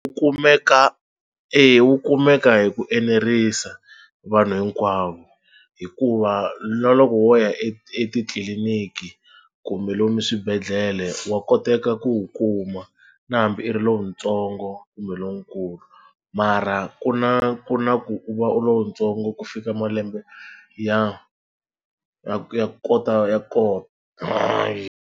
Wu kumeka eya wu kumeka hi ku enerisa vanhu hinkwavo hikuva na loko wo ya etitliliniki kumbe lomu swibedhlele wa koteka ku wu kuma na hambi i ri lowutsongo kumbe lonkulu mara ku na ku na ku u va u ri lowutsongo ku fika malembe ya ya ya kota ya .